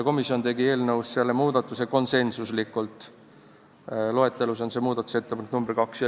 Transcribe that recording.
Komisjon tegi selle otsuse konsensuslikult, loetelus on see muudatusettepanek nr 2.